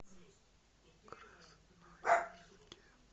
красноярске